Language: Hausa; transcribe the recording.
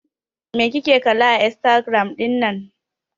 Me kike kalla a Instagram ɗin nan?